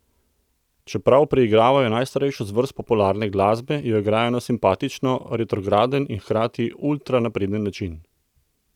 Čeprav preigravajo najstarejšo zvrst popularne glasbe, jo igrajo na simpatično retrogarden in hkrati ultra napreden način.